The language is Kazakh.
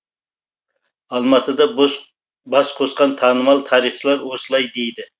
алматыда бас қосқан танымал тарихшылар осылай дейді